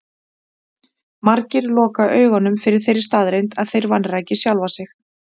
Margir loka augunum fyrir þeirri staðreynd að þeir vanræki sjálfa sig.